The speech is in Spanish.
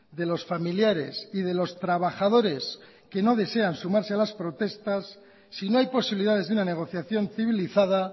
de los familiares y de los trabajadores que no desean sumarse a las protestas si no hay posibilidades de una negociación civilizada